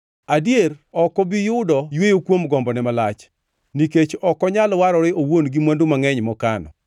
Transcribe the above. “Adier, ok obi yudo yweyo kuom gombone malach; nikech ok onyal warore owuon gi mwandu mangʼeny mokano.